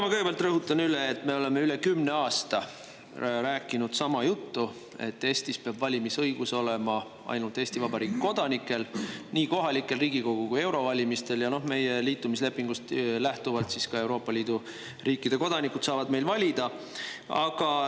Ma kõigepealt rõhutan üle, et me oleme üle kümne aasta rääkinud sama juttu: Eestis peab valimisõigus olema ainult Eesti Vabariigi kodanikel, nii kohalikel, Riigikogu kui ka eurovalimistel, ja meie liitumislepingust lähtuvalt saavad ka Euroopa Liidu riikide kodanikud meil valida.